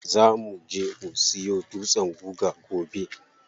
Za muje mu siyo dutsen guga gobe.